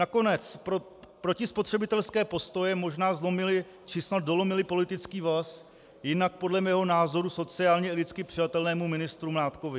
Nakonec protispotřebitelské postoje možná zlomily, či snad dolomily politický vaz jinak podle mého názoru sociálně i lidsky přijatelnému ministru Mládkovi.